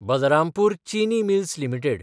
Balrampur Chini mills limited